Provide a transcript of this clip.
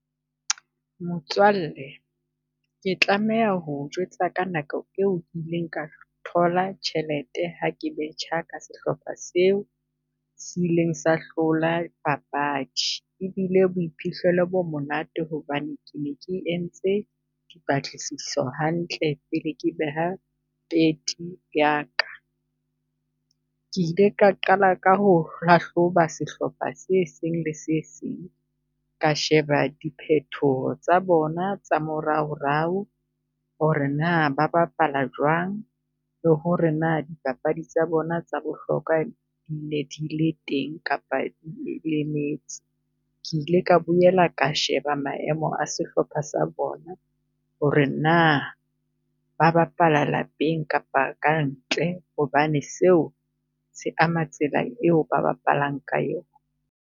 Motswalle ke tlameha ho o jwetsa ka nako e o ke ileng ka thola tjhelete ha ke betjha ka sehlopha seo se ileng sa hlola papadi. E bile boiphihlelo bo monate hobane ke ne ke entse di patlisiso hantle pele ke beha ya ka. Ke ile ka qala ka ho hlahloba sehlopha se seng le se seng, ka sheba di phethoho tsa bona tsa moraorao ho re na ba bapala jwang? Le ho re na dipapadi tsa bona tsa bohlokwa di ne di le teng kapa lemetse? Ke ile ka boela ka sheba maemo a sehlopha sa bona, ho re na ba bapala lapeng kapa ka ntle? Hobane seo se ama tsela e o ba bapalang ka eo.